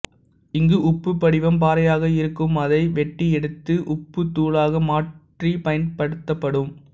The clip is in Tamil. இங்கு உப்பு படிவம் பாறையாக இருக்கும் அதை வெட்டியெடுத்து உப்புத்தூளாக மாற்றி பயன்படுத்தப்படும்